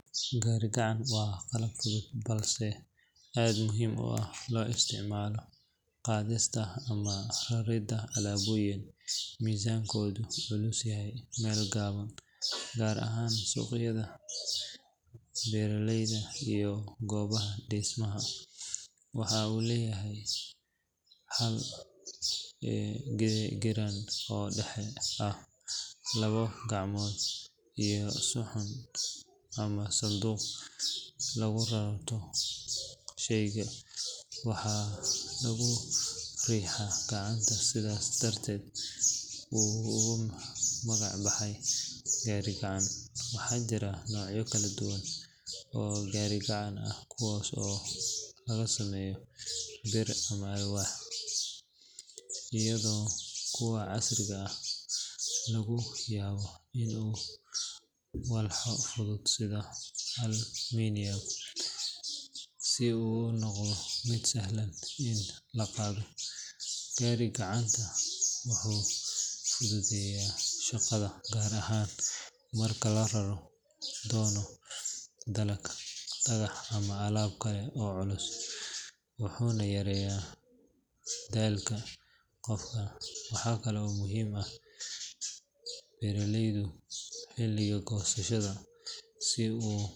Gaari gacan waa qalab fudud balse aad u muhiim ah oo loo isticmaalo qaadista ama raridda alaabooyinka miisaankoodu culus yahay meel gaaban, gaar ahaan suuqyada, beeralayda, iyo goobaha dhismaha. Waxa uu leeyahay hal giraan oo dhexe ah, labo gacmood iyo saxan ama sanduuq lagu rarto shayga, waxaana lagu riixaa gacanta sidaas darteedna uu ugu magac baxay gaari gacan. Waxaa jira noocyo kala duwan oo gaari gacan ah kuwaas oo laga sameeyo bir ama alwaax, iyadoo kuwa casriga ah laga yaabo in lagu daray walxo fudud sida aluminum si uu u noqdo mid sahlan in la qaado. Gaari gacantu wuxuu fududeeyaa shaqada gaar ahaan marka la rari doono dalag, dhagax, ama alaab kale oo culus, wuxuuna yareeyaa daalka qofka. Waxa kale oo uu muhiim u yahay beeraleyda xilliga goosashada si ay u.